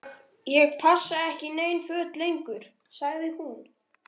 Ég passa ekki í nein föt lengur- sagði hún.